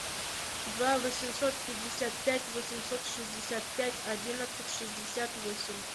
два восемьсот пятьдесят пять восемьсот шестьдесят пять одиннадцать шестьдесят восемь